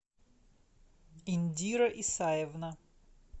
индира исаевна